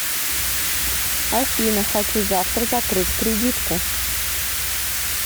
афина хочу завтра закрыть кредитку